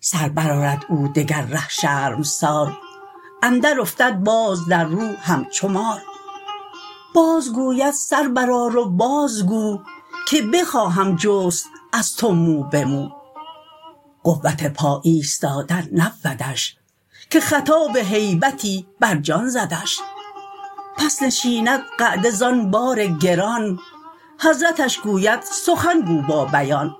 سر بر آرد او دگر ره شرمسار اندر افتد باز در رو همچو مار باز گوید سر برآر و باز گو که بخواهم جست از تو مو به مو قوت پا ایستادن نبودش که خطاب هیبتی بر جان زدش پس نشیند قعده زان بار گران حضرتش گوید سخن گو با بیان